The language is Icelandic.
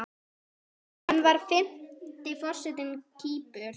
Hann var fimmti forseti Kýpur.